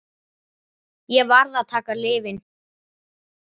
Ég varð að taka lyfin.